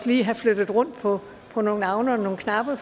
lige have flyttet rundt på på nogle navne og nogle knapper